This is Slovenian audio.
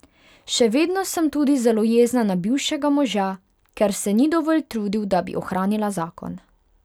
Še vedno sem tudi zelo jezna na bivšega moža, ker se ni dovolj trudil, da bi ohranila zakon.